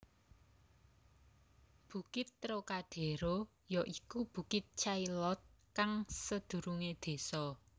Bukit Trocadéro ya iku bukit Chaillot kang sedurunge desa